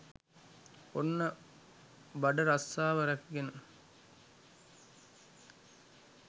ඔන්න බඩ රස්සාව රැකගෙන